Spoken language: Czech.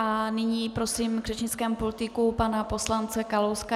A nyní prosím k řečnickému pultíku pana poslance Kalouska.